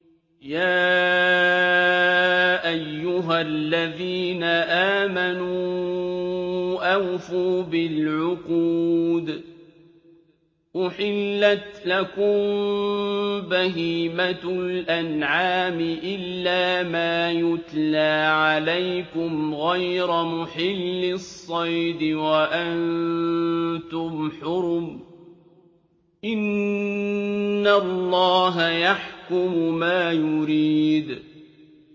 يَا أَيُّهَا الَّذِينَ آمَنُوا أَوْفُوا بِالْعُقُودِ ۚ أُحِلَّتْ لَكُم بَهِيمَةُ الْأَنْعَامِ إِلَّا مَا يُتْلَىٰ عَلَيْكُمْ غَيْرَ مُحِلِّي الصَّيْدِ وَأَنتُمْ حُرُمٌ ۗ إِنَّ اللَّهَ يَحْكُمُ مَا يُرِيدُ